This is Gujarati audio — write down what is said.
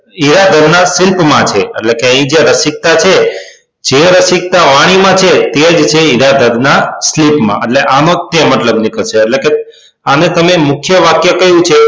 જીરાધર ના શિલ્પ માં છે એટલે કે એ જે રસિક્તા છે જે રસિક્તા વાણીમાં છે તે જ છે ઇ જીરાધર ના શિલ્પમાં આનો તે મતલબ નીકળશે એટલે કે આને તમે મુખ્ય વાક્ય કયું છે